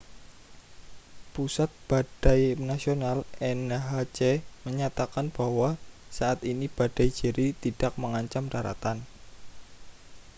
pusat badai nasional nhc menyatakan bahwa saat ini badai jerry tidak mengancam daratan